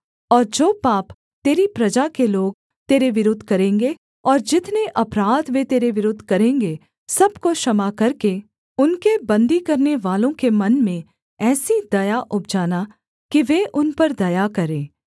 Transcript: और जो पाप तेरी प्रजा के लोग तेरे विरुद्ध करेंगे और जितने अपराध वे तेरे विरुद्ध करेंगे सब को क्षमा करके उनके बन्दी करनेवालों के मन में ऐसी दया उपजाना कि वे उन पर दया करें